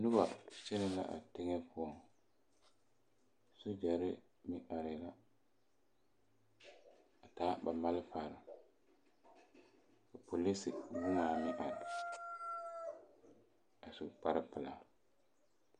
Noba kyɛnɛ la a teŋa poɔŋ sogyare meŋ arɛɛ la a taa ba malfare a polise meŋ arɛɛ a su kpar pelaa